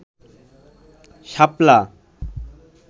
শাপলা